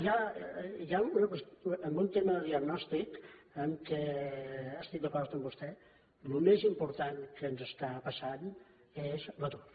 hi ha una qüestió en un tema de diagnòstic en què estic d’acord amb vostè el més important que ens està passant és l’atur